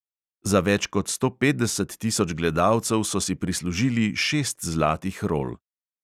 Za več kot sto petdeset tisoč gledalcev so si prislužili šest zlatih rol.